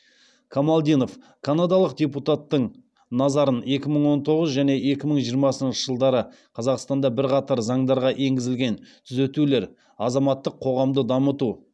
камалдинов канадалық депутаттың назарын екі мың он тоғыз және екі мың жиырмасыншы жылдары қазақстанда бірқатар заңдарға енгізілген түзетулер азаматтық қоғамды дамыту